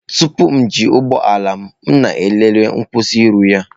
Tupu m eji ụgbọ ala m, m na-elele nkwusioru ya.